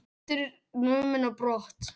Hundur numinn á brott